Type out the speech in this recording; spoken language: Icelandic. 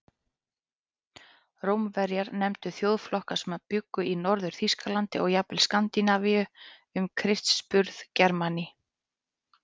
Rómverjar nefndu þjóðflokka sem bjuggu í Norður-Þýskalandi og jafnvel Skandinavíu um Krists burð Germani.